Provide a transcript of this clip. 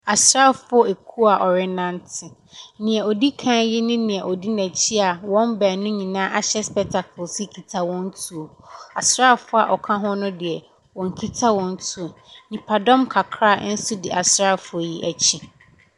Asraafoɔ kuo a wɔrenante. Deɛ ɔdi kan yi ne deɛ ɔdi n'akyi a wɔn baanu nyinaa ahyɛ spectacles yi kita wɔn tuo. Asraafoɔ a wɔka ho no deɛ, wɔnkita wɔn tuo. Nnipadɔm kakra nso di asraafoɔ yi akyi.